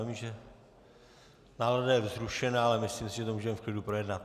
Vím, že nálada je vzrušená, ale myslím si, že to můžeme v klidu projednat.